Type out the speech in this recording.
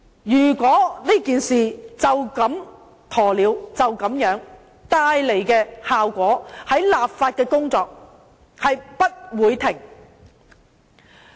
如果以鴕鳥態度面對這事，效果是立法的工作將不會停止。